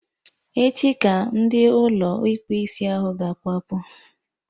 Echi ka ndị Ụlọ ịkpụ isiahụ ga-akwapụ